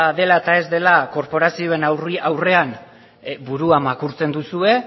dela eta ez dela korporazioen aurrean burua makurtzen duzue